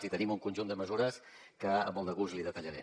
i tenim un conjunt de mesures que amb molt de gust li detallaré